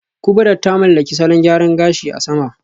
Kubrat ta mallaki salon gyaran gashi a sama